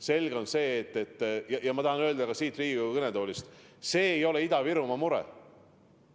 Selge on see, et – ja ma tahan seda öelda ka siit Riigikogu kõnetoolist – see ei ole vaid Ida-Virumaa mure.